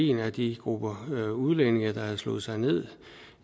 en af de grupper af udlændinge der havde slået sig ned